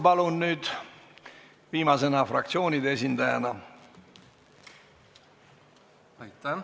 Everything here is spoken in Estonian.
Palun, Priit Sibul, viimasena fraktsioonide esindajana!